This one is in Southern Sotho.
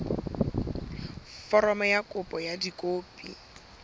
foromo ya kopo ka dikopi